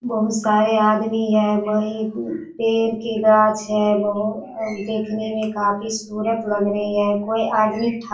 बहोत सारे आदमी है वही पेर की गाँच है बहु देखने में काफी सूरत लग रही है कोई आदमी ठा --